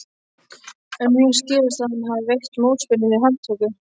En mér skilst að hann hafi veitt mótspyrnu við handtöku.